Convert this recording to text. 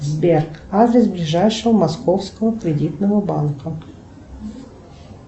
сбер адрес ближайшего московского кредитного банка